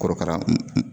Korokara